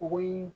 O ye